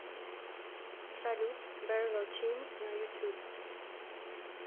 салют бэрло тим на ютуб